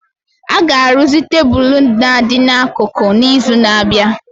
A ga-arụzi tebụl na-adị n'akụkụ n'izu na-abịa